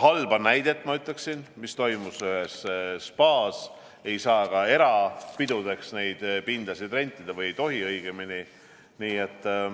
halba juhtumit, mis toimus ühes spaas, ei saa ka erapidudeks neid pindasid rentida, või õigemini ei tohi.